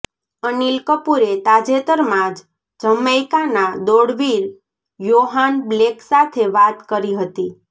અનિલ કપૂરે તાજેતરમાં જ જમૈકાના દોડવીર યોહાન બ્લેક સાથે વાત કરી હતી